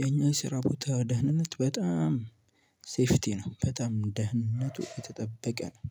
የኛ ስራ ቦታ ደህንነት በጣም ሴፍቲ ነው በጣም ደህንነቱ የተጠበቀ ነው።